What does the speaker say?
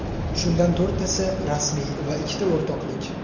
Shundan to‘rttasi rasmiy va ikkita o‘rtoqlik.